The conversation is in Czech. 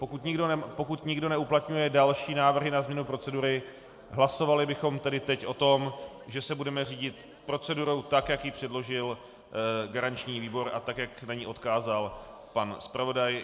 Pokud nikdo neuplatňuje další návrhy na změnu procedury, hlasovali bychom tedy teď o tom, že se budeme řídit procedurou tak, jak ji předložil garanční výbor, a tak, jak na ni odkázal pan zpravodaj.